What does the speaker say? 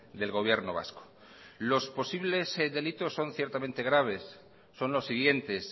del gobierno vasco los posibles delitos son ciertamente graves son los siguientes